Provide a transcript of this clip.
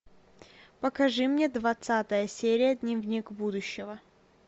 покажи мне двадцатая серия дневник будущего